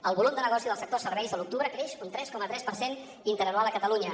el volum de negoci del sector serveis a l’octubre creix un tres coma tres per cent interanual a catalunya